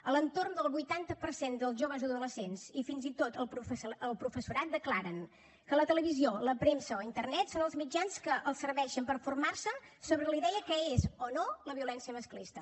a l’entorn del vuitanta per cent dels joves adolescents i fins i tot el professorat declaren que la televisió la premsa o internet són els mitjans que els serveixen per formar se sobre la idea de què és o no la violència masclista